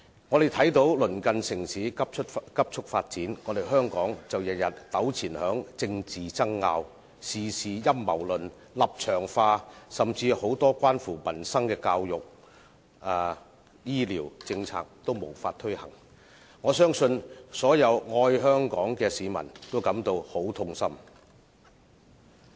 我們看到鄰近城市急速發展，香港卻每天糾纏於政治爭拗，事事陰謀論、立場化，甚至很多關乎民生的教育和醫療政策也無法推行，相信所有愛香港的市民也感到很痛心。